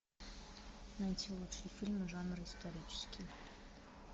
найти лучшие фильмы жанра исторический